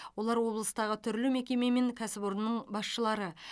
олар облыстағы түрлі мекеме мен кәсіпорынның басшылары